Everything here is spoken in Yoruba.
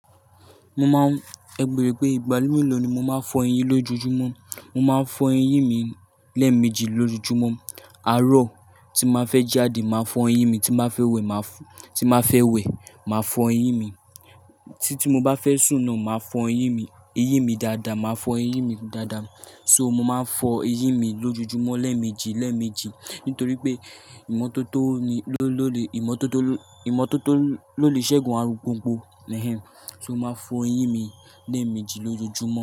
Mo ma, ẹ gbèrò pé ìgbàlódé ló ni mo ma ń fọ eyín lójúmọ́. Mo ma ń fọ eyín mi lẹ́ẹ̀meji lójúmọ́. Àárọ̀ tí màá fẹ́ jáde, màá fọ eyín mi, tí màá fẹ́ wẹ̀, màá fọ eyín mi, tí mo bá fẹ́ sùn náà, màá fọ eyín mi, eyín mi dáadáa, màá fọ eyín mi dáadáa. So mo ma ń fọ eyín mi lójojúmọ́ lẹ́ẹ̀meji, lẹ́ẹ̀meji nítorí pé ìmọ́tótó ló lè, ìmọ́tótó, ìmọ́tótó ló lè ṣẹ́gun arugbóǹgbò, nihen. So mo ma fọ eyín mi lẹ́ẹ̀meji lójojúmọ́